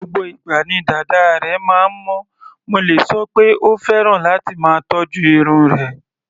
Gbogbo ìgbà ni dàda rẹ̀ máa ń mọ́, mo lè sọ pé ó fẹ́ràn láti máa tọ́jú irun rẹ̀.